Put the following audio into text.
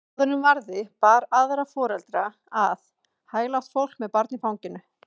Áður en varði bar aðra foreldra að, hæglátt fólk með barn í fanginu.